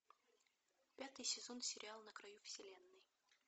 пятый сезон сериал на краю вселенной